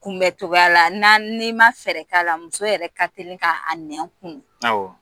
Kunbɛn cogoya la n'i ma fɛɛrɛ k'a la muso yɛrɛ ka teli k'a nɛn kunun